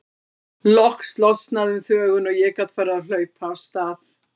Loks losnaði um þvöguna og ég gat farið að hlaupa af stað.